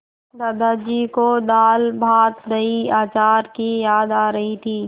दादाजी को दालभातदहीअचार की याद आ रही थी